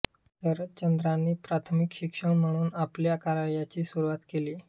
शरदचंद्रांनी प्राथमिक शिक्षक म्हणून आपल्या कार्याची सुरुवात केली